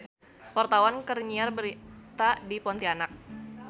Wartawan keur nyiar berita di Pontianak